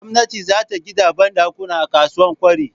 Gwamnati zata gida banɗakuna a kasuwa kwari